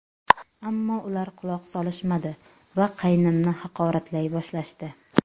Ammo ular quloq solishmadi va qaynimni haqoratlay boshlashdi.